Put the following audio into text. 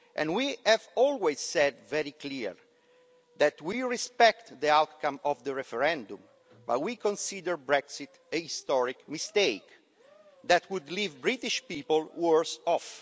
We have always said very clearly that we respect the outcome of the referendum, but we consider Brexit a historic mistake that would leave British people worse off.